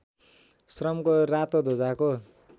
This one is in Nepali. श्रमको रातो ध्वजाको